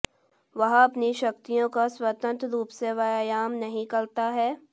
वह अपनी शक्तियों का स्वतंत्र रूप से व्यायाम नहीं करता है